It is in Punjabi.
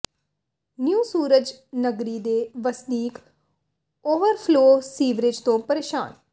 ਨਿਊ ਸੂਰਜ ਨਗਰੀ ਦੇ ਵਸਨੀਕ ਓਵਰਫਲੋ ਸੀਵਰੇਜ ਤੋਂ ਪਰੇਸ਼ਾਨ